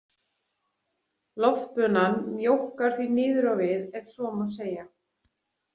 „Loftbunan“ mjókkar því niður á við ef svo má segja.